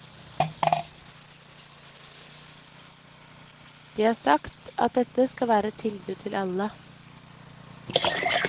De har sagt at dette skal være et tilbud til alle.